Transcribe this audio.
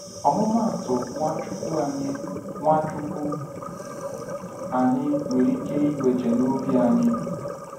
ọmụmụ atụ Nwachukwu anyị Nwachukwu anyị nwere ike iweje n'obi anyị?